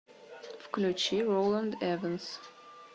включи роланд эванс